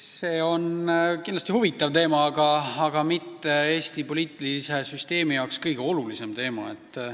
See on kindlasti huvitav teema, aga Eesti poliitilise süsteemi seisukohalt pole see kõige olulisem teema.